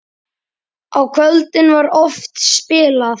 Á kvöldin var oft spilað.